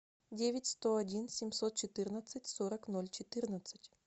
девять сто один семьсот четырнадцать сорок ноль четырнадцать